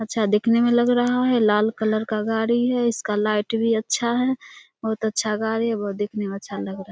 अच्छा दिखने में लग रहा है लाल कलर का गाड़ी है इसका लाइट भी अच्छा है बहुत अच्छा गाड़ी है बहुत दिखने में अच्छा लग रहा है।